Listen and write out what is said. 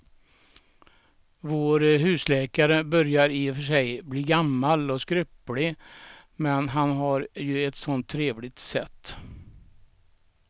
Vår husläkare börjar i och för sig bli gammal och skröplig, men han har ju ett sådant trevligt sätt!